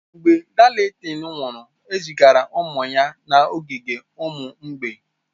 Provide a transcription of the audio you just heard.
Mgbe Darlington nwụrụ, ezigara ụmụ ya n'ogige ụmụ mgbei.